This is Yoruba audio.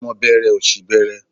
Ọmọ bẹẹrẹ òṣì bẹẹrẹ.